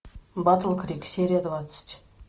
батл крик серия двадцать